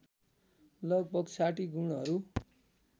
लगभग ६० गुणहरू